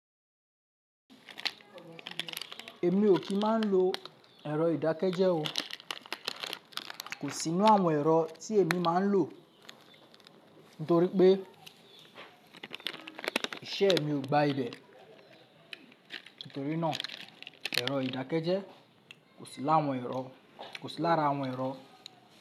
Èmi ò kí máa ń lo ẹ̀rọ ìdákẹ́jẹ́ o. Kò sí nínú àwọn ẹ̀rọ tí èmi máa ń lò. Nítorí pé iṣẹ́ mi ò gba ibẹ̀. Nítorí náà ẹ̀rọ ìdákẹ́jẹ́ kò sí lára àwọn ẹ̀rọ.